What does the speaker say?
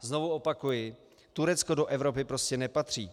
A znovu opakuji, Turecko do Evropy prostě nepatří.